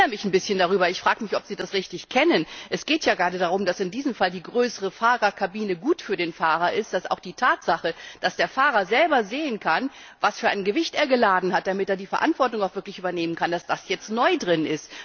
Ich wundere mich ein bisschen darüber und frage mich, ob Sie den Vorschlag richtig kennen Es geht ja gerade darum, dass in diesem Fall die größere Fahrerkabine gut für den Fahrer ist, und auch die Tatsache, dass der Fahrer selber sehen kann, was für ein Gewicht er geladen hat, damit er die Verantwortung auch wirklich übernehmen kann, ist jetzt neu geregelt.